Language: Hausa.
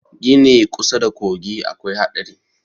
Gini kusa da kogi akwai haɗari